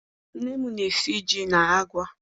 Nne m na-esi ji na agwa.